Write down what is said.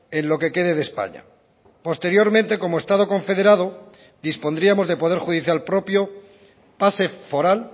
en lo que quede de españa posteriormente como estado confederado dispondríamos de poder judicial propio pase foral